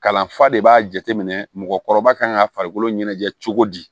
Kalanfa de b'a jateminɛ mɔgɔkɔrɔba kan ka farikolo ɲɛnajɛ cogo di